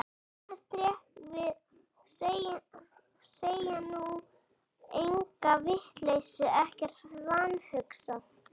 Bregðast rétt við, segja nú enga vitleysu, ekkert vanhugsað.